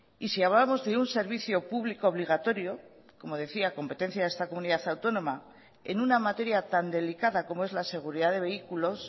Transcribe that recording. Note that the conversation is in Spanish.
y si hablamos de un servicio público obligatorio como decía competencia de esta comunidad autónoma en una materia tan delicada como es la seguridad de vehículos